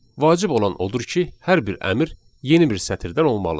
Vacib olan odur ki, hər bir əmr yeni bir sətirdən olmalıdır.